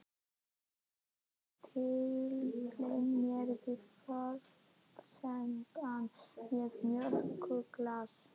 Ég tyllti mér við borðsendann með mjólkurglas.